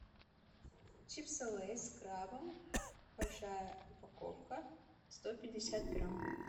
чипсы лейс с крабом большая упаковка сто пятьдесят грамм